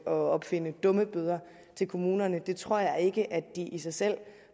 at opfinde dummebøder til kommunerne det tror jeg ikke at de i sig selv